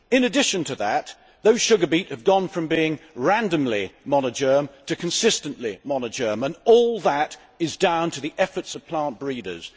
In addition to that, those sugar beet have gone from being randomly monogerm to consistently monogerm, and all that is down to the efforts of plant breeders.